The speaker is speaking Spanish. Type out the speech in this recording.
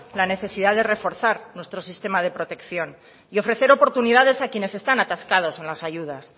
la necesidad de reforzar nuestro sistema de protección y ofrecer oportunidades a quienes están atascados en la ayudas